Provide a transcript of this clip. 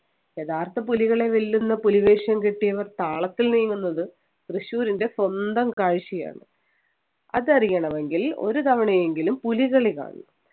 യഥാർത്ഥ പുലികളെ വെല്ലുന്ന പുലിവേഷം കെട്ടിയവർ താളത്തിൽ നീങ്ങുന്നത് തൃശ്ശൂരിൻ്റെ സ്വന്തം കാഴ്ചയാണ് അത് അറിയണമെങ്കിൽ ഒരു തവണയെങ്കിലും പുലികളി കാണണം